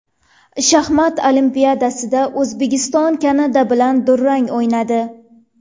Shaxmat Olimpiadasida O‘zbekiston Kanada bilan durang o‘ynadi.